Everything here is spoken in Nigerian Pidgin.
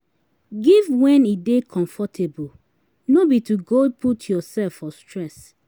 Giv wen e dey comfortable, no bi to go put urself for stress